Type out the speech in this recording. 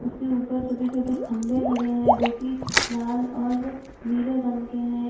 उसके ऊपर छोटे-छोटे खम्बे लगे हैं जोकि लाल और नीले रंग के हैं।